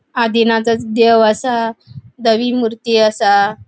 आदिनाथ देव असा धवी मूर्ती असा.